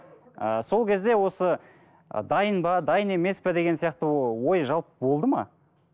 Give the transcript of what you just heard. ы сол кезде осы ы дайын ба дайын емес пе деген сияқты ой жалпы болды ма